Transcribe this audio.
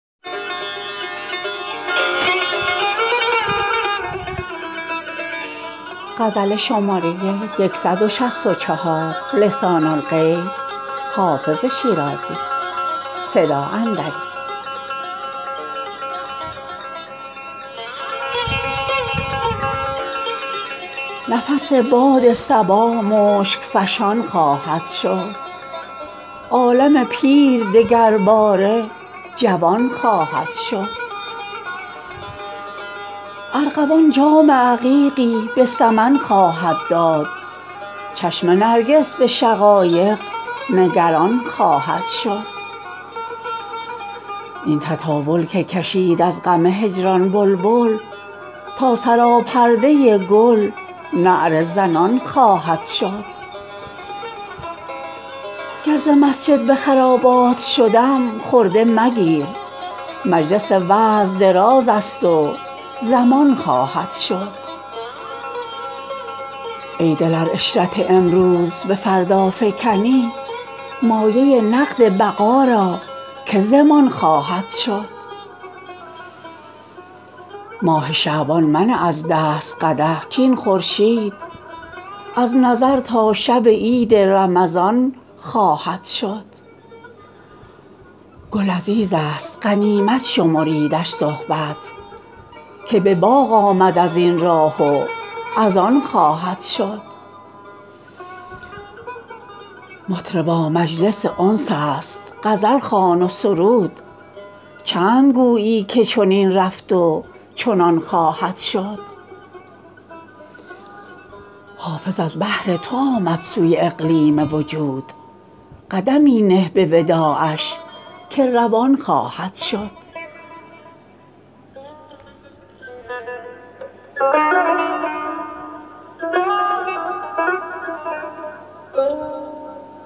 نفس باد صبا مشک فشان خواهد شد عالم پیر دگرباره جوان خواهد شد ارغوان جام عقیقی به سمن خواهد داد چشم نرگس به شقایق نگران خواهد شد این تطاول که کشید از غم هجران بلبل تا سراپرده گل نعره زنان خواهد شد گر ز مسجد به خرابات شدم خرده مگیر مجلس وعظ دراز است و زمان خواهد شد ای دل ار عشرت امروز به فردا فکنی مایه نقد بقا را که ضمان خواهد شد ماه شعبان منه از دست قدح کاین خورشید از نظر تا شب عید رمضان خواهد شد گل عزیز است غنیمت شمریدش صحبت که به باغ آمد از این راه و از آن خواهد شد مطربا مجلس انس است غزل خوان و سرود چند گویی که چنین رفت و چنان خواهد شد حافظ از بهر تو آمد سوی اقلیم وجود قدمی نه به وداعش که روان خواهد شد